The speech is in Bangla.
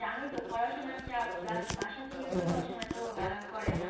জানোই তো পড়াশোনা চাপ plus বাসা থেকেও তো সব সময় এতো allow করে না